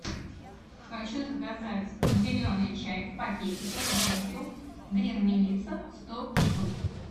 хочу заказать зеленый чай в пакетиках гринфилд грин мелисса сто штук